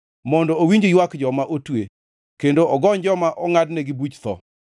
mondo owinj ywak joma otwe kendo ogony joma ongʼadnegi buch tho.”